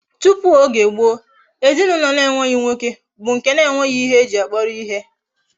Tupu Oge gboo, ezinaulo na enweghi nwoke bu nke na enweghi ihe eji ya kporo ihe